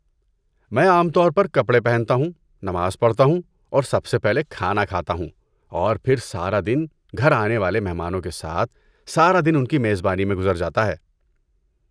میں عام طور پر کپڑے پہنتا ہوں، نماز پڑھتا ہوں اور سب سے پہلے کھانا کھاتا ہوں۔ اور پھر سارا دن گھر آنے والے مہمانوں کے ساتھ، سارا دن ان کی میزبانی میں گزر جاتا ہے۔